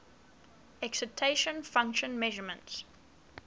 excitation function measurements